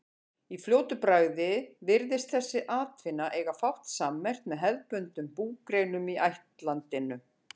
Í fljótu bragði virðist þessi atvinna eiga fátt sammerkt með hefðbundnum búgreinum í ættlandinu.